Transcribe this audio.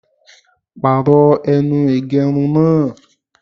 Pàrọ̀ ẹnu ìgẹrun náà!